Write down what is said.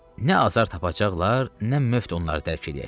Nə azar tapacaqlar, nə möft onları dərk eləyəcək.